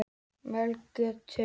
Melgötu